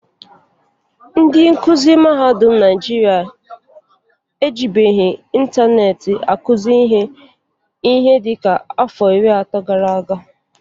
Ndị nkụzị mahadụm Naịjịrịa ejibughii ịntaneetị akụzị ihe ihe dịka afọ iri atọ gara aga.